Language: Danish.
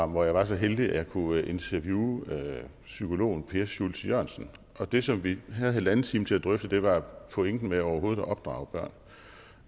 hvor jeg var så heldig at jeg kunne interviewe psykologen per schultz jørgensen og det som vi havde halvanden time til at drøfte var pointen med overhovedet at opdrage børn